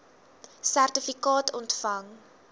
sertifikaat ontvang